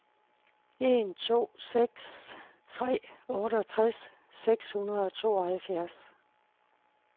en to seks tre otteogtres seks hundrede og tooghalvfjerds